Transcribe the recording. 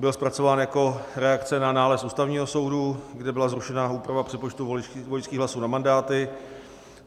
Byl zpracován jako reakce na nález Ústavního soudu, kde byla zrušena úprava přepočtu voličských hlasů na mandáty.